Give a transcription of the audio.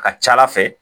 A ka ca ala fɛ